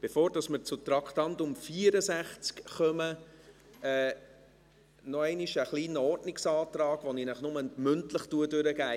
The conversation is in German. Bevor wir zu Traktandum 64 kommen, noch einmal ein kleiner Ordnungsantrag, den ich Ihnen nur mündlich durchgebe.